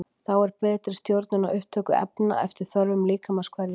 Þá er betri stjórnun á upptöku efna eftir þörfum líkamans hverju sinni.